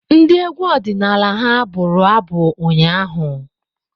Ndị egwu ọdịnala ha abụru abu ụnyaahụ?